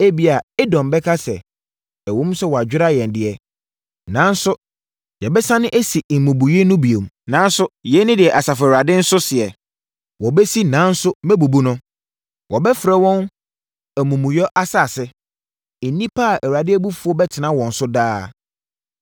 Ebia Edom bɛka sɛ, “Ɛwom sɛ wɔadwera yɛn deɛ, nanso yɛbɛsane asi mmubuiɛ no bio.” Nanso, yei ne deɛ Asafo Awurade nso seɛ: “Wɔbɛsi nanso mɛbubu no. Wɔbɛfrɛ wɔn, Amumuyɛ Asase, nnipa a Awurade abufuo bɛtena wɔn so daa.